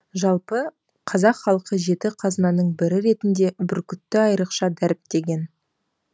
жалпы қазақ халқы жеті қазынаның бірі ретінде бүркітті айрықша дәріптеген